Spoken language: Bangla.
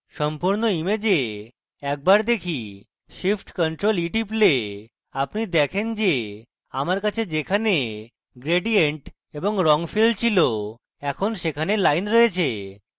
সম্পূর্ণ image একবার দেখি shift + ctrl + e টিপলে আপনি দেখেন যে আমার কাছে যেখানে gradient এবং রঙ fills fills এখন সেখানে lines রয়েছে